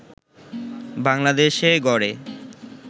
বাংলাদেশে গড়ে